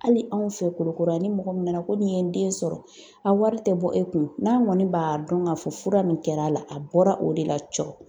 Hali anw fɛ kulikɔro yan, ni mɔgɔ min nana ko nin ye n den sɔrɔ, a wari tɛ bɔ e kun, n'a kɔni b'a dɔn ka fɔ fura min kɛra a bɔra o de la cɔ